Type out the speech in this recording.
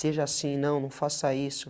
Seja assim, não, não faça isso.